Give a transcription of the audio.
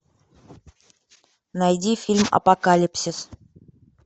найди фильм апокалипсис